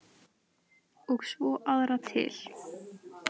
Og svo aðra til.